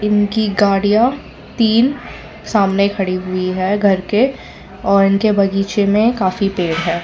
उनकी गाड़ियां तीन सामने खड़ी हुई है घर के और इनके बगीचे में काफी पेड़ है।